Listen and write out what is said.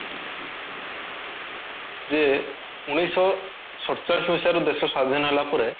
ଯେ ଉଣେଇଶି ଶହ ସତଚାଳିଶି ମସିହା ରେ ଦେଶ ସ୍ଵାଧୀନ ହେଲା ପରେ